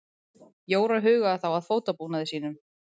Jóra hugaði þá að fótabúnaði sínum.